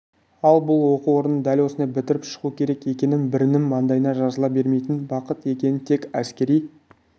ал бұл оқу орнын дәл осылай бітіріп шығу керек екінін бірінің маңдайына жазыла бермейтін бақыт екенін тек әскери